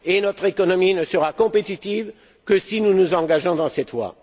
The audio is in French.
Notre économie ne sera compétitive que si nous nous engageons sur cette voie.